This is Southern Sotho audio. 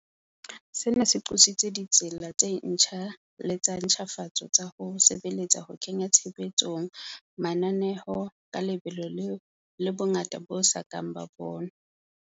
Sena se qositse ditsela tse ntjha le tsa ntjhafatso tsa ho sebeletsa ho kenya tshebetsong mananeo ka lebelo le bongata bo so kang bo bonwa.